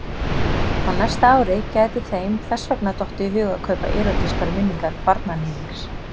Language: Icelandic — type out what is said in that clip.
Á næsta ári gæti þeim þess vegna dottið í hug að kaupa Erótískar minningar barnaníðings.